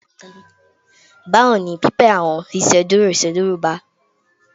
Bawo ni pipẹ awọn iṣeduro iṣeduro gba?